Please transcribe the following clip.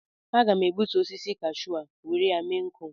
Aga m egbutu osisi Kashu a were ya mee nkụ